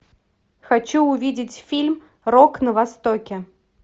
хочу увидеть фильм рок на востоке